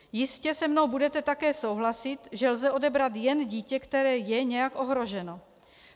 Jistě se mnou budete také souhlasit, že lze odebrat jen dítě, které je nějak ohroženo.